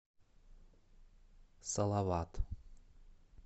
салават